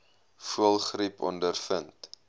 voëlgriep ondervind